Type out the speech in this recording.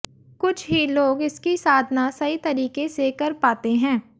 कुछ ही लोग इसकी साधना सही तरीके से कर पाते हैं